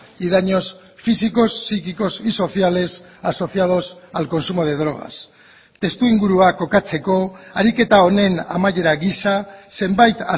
y daños físicos psíquicos y sociales asociados al consumo de drogas testuingurua kokatzeko ariketa honen amaiera gisa zenbait